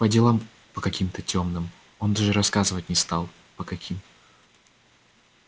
по делам по каким-то тёмным он даже рассказывать не стал по каким